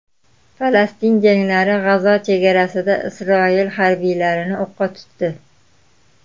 Falastin jangarilari G‘azo chegarasida Isroil harbiylarini o‘qqa tutdi.